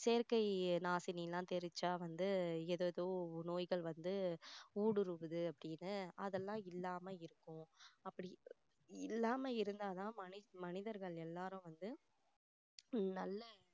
செயற்கை நாசினிலாம் தெளிச்சா வந்து ஏதேதோ நோய்கள் வந்து ஊடுருவுது அப்படின்னு அதெல்லாம் இல்லாம இருக்கும் அப்படி இல்லாம இருந்தா தான் மனி~மனிதர்கள் எல்லாரும் வந்து உம் நல்ல